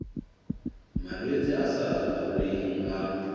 malwetse a sa laoleheng a